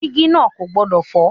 Dígí náà kò gbọdọ̀ fọ́.